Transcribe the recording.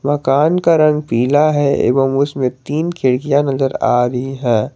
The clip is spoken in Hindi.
मकान का रंग पीला है एवं उसमें तीन खिड़कियां नजर आ रही हैं।